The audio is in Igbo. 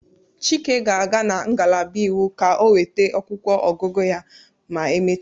Chike ga-aga na ngalaba iwu ka o nweta akwụkwọ ọgụgụ ya ma emechaa.